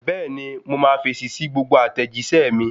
Bẹ́ẹ̀ni mo máa fèsì sí gbogbo àtẹ̀jíṣẹ́ mi